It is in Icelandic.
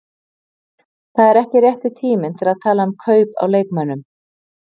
Það er ekki rétti tíminn til að tala um kaup á leikmönnum.